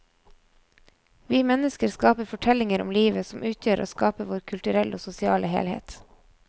Vi mennesker skaper fortellinger om livet som utgjør og skaper vår kulturelle og sosiale helhet.